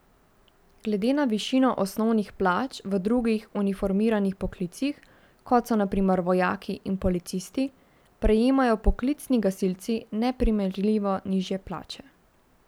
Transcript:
Glede na višino osnovnih plač v drugih uniformiranih poklicih, kot so na primer vojaki in policisti, prejemajo poklicni gasilci neprimerljivo nižje plače.